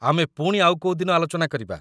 ଆମେ ପୁଣି ଆଉ କୋଉ ଦିନ ଆଲୋଚନା କରିବା